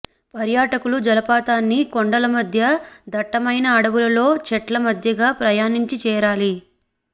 పర్యాటకులు జలపాతాన్ని కొండల మధ్య దట్టమైన అడవులలో చెట్లమధ్యగా ప్రయాణించి చేరాలి